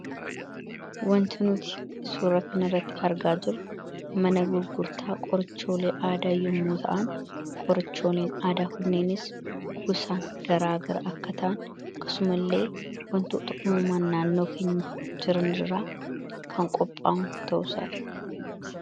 Wanti nuti suuraa kana irratti argaa jirru mana gurgurtaa qorichoolee aadaa yommuu ta'an, qorichooleen aadaa kunneenis gosaan garaagara akka ta'an akkasumallee wantoota uumamaan naannoo keenya jiran irraa kan qophaa'an ta'uu isaa dha.